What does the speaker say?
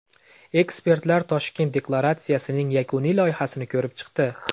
Ekspertlar Toshkent deklaratsiyasining yakuniy loyihasini ko‘rib chiqdi.